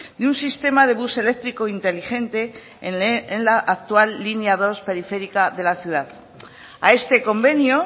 de un sistema de bus eléctrico inteligente en la actual línea dos periférica de la ciudad a este convenio